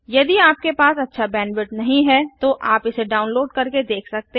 यदि आपके पास अच्छा बैंडविड्थ नहीं है तो आप इसे डाउनलोड करके देख सकते हैं